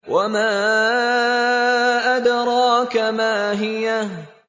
وَمَا أَدْرَاكَ مَا هِيَهْ